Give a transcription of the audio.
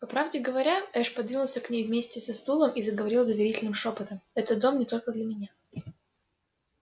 по правде говоря эш подвинулся к ней вместе со стулом и заговорил доверительным шёпотом это дом не только для меня